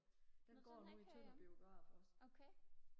den har jeg ikke hørt om okay